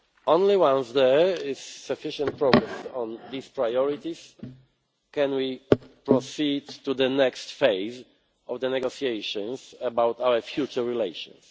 Only once there is sufficient progress on these priorities can we proceed to the next phase of the negotiations, about our future relations.